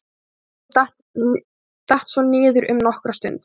Leikurinn datt svo niður um nokkra stund.